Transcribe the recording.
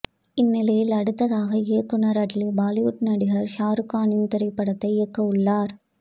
இந்நிலையில் அடுத்ததாக இயக்குனர் அட்லீ பாலிவுட் நடிகர் ஷாருக்கானின் திரைப்படத்தை இயக்கவுள்ளார்